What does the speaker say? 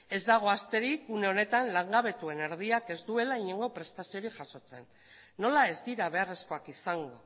ez dago asterik une honetan langabetuen erdiak ez duela inongo prestaziorik jasotzen nola ez dira beharrezkoak izango